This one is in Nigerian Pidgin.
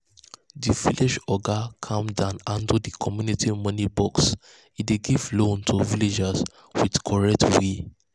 the village oga calm down handle the community money box e dey give loans to villagers with correct way.